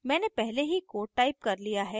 मैंने पहले ही code टाइप कर लिया है